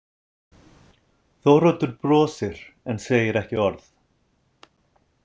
Þóroddur brosir en segir ekki orð.